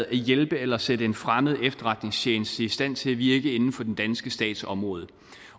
at hjælpe eller sætte en fremmed efterretningstjeneste i stand til at virke inden for den danske stats område